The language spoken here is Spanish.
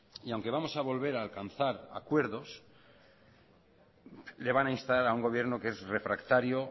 y aunque vamos a volver a alcanzar acuerdos le van a instar a un gobierno que es refractario